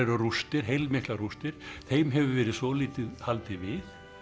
rústir heilmiklar rústir þeim hefur verið svolítið haldið við